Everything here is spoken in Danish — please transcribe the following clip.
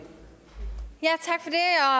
har